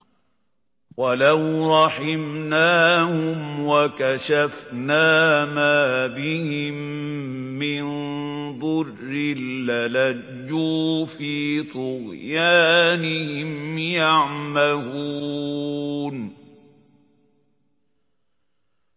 ۞ وَلَوْ رَحِمْنَاهُمْ وَكَشَفْنَا مَا بِهِم مِّن ضُرٍّ لَّلَجُّوا فِي طُغْيَانِهِمْ يَعْمَهُونَ